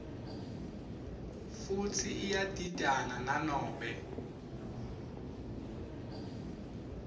futsi iyadidana nanobe